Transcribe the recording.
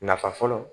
Nafa fɔlɔ